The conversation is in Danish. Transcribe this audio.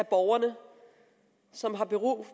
af borgerne som har behov